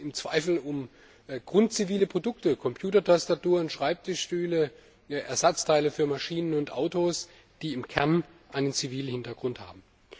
Es geht im Zweifel um grundzivile Produkte, Computertastaturen, Schreibtischstühle, Ersatzteile für Maschinen und Autos, die im Kern einen zivilen Hintergrund haben.